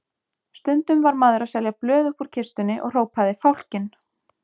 Stundum var maður að selja blöð uppúr kistunni og hrópaði Fálkinn!